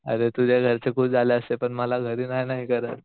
अरे तुझ्या घरचे खुश झाले असते पण मला घरी नाही ना हे करत